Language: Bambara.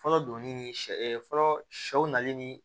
Fɔlɔ donnin ni sɛ fɔlɔ sɛw nali ni